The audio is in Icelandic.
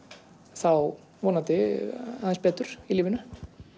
þá vonandi aðeins betur í lífinu